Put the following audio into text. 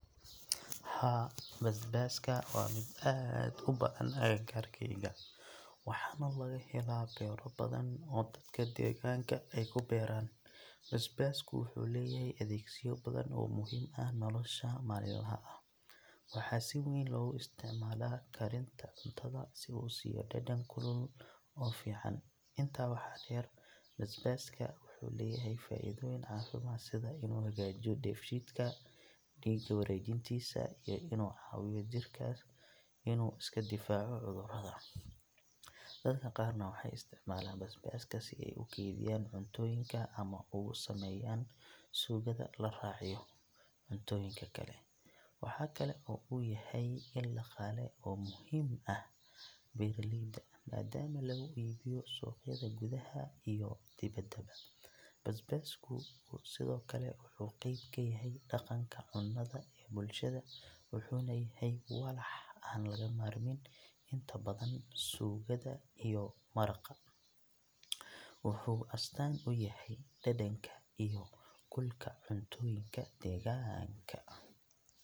Haa, basbaaska waa mid aad u badan agagaarkayga, waxaana laga helaa beero badan oo dadka deegaanka ay ku beeraan. Basbaasku wuxuu leeyahay adeegsiyo badan oo muhiim ah nolosha maalinlaha ah. Waxaa si weyn loogu isticmaalaa karinta cuntada si uu u siiyo dhadhan kulul oo fiican. Intaa waxaa dheer, basbaaska wuxuu leeyahay faa’iidooyin caafimaad sida inuu hagaajiyo dheefshiidka, dhiigga wareejintiisa iyo inuu caawiyo jirka inuu iska difaaco cudurrada. Dadka qaarna waxay isticmaalaan basbaaska si ay u kaydiyaan cuntooyinka ama ugu sameeyaan suugada la raaciyo cuntooyinka kale. Waxa kale oo uu yahay il dhaqaale oo muhiim u ah beeraleyda, maadaama lagu iibiyo suuqyada gudaha iyo dibaddaba. Basbaasku sidoo kale wuxuu qayb ka yahay dhaqanka cunnada ee bulshada, wuxuuna yahay walax aan laga maarmin inta badan suugada iyo maraqa. Wuxuu astaan u yahay dhadhanka iyo kulka cuntooyinka deegaanka.